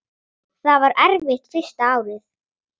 Það var erfitt fyrsta árið.